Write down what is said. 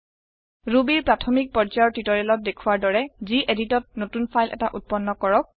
Rubyৰ প্ৰাথমিক পৰ্যায়ৰ টিওটৰিয়েলত দেখুৱাৰ দৰে geditত নতুন ফাইল এটা উত্পন্ন কৰক